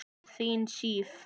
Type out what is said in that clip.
Þín Sif.